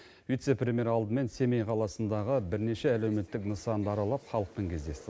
вице премьер алдымен семей қаласындағы бірнеше әлеуметтік нысанды аралап халықпен кездесті